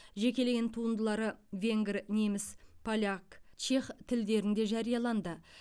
жекелеген туындылары венгр неміс поляк чех тілдерінде жарияланды